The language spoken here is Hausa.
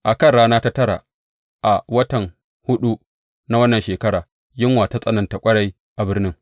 A kan rana ta tara a watan huɗu na wannan shekara, yunwa ta tsananta ƙwarai a birnin.